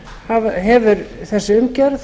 þá hefur þessi umgjörð